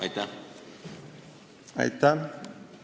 Aitäh!